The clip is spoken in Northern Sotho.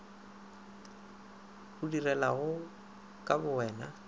o di dirilego ka bowena